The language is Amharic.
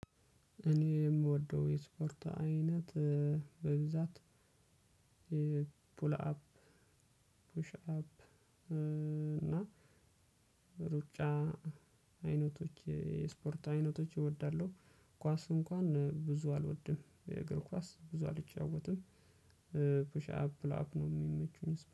እኔ የምወደው የስፖርት አይነት በብዛት ፑል አፕ ፑሽ አፕ እና ሩጫ አይነቶች የስፖርት አይነቶች እወዳለሁ። ኳስ እንኳን ብዙ አልወድም የእግር ኳስ ብዙ አልጫወትም። ፑሻፕ ፑል አፕ ነው የሚመቹኝ